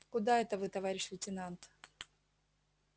куда это вы товарищ лейтенант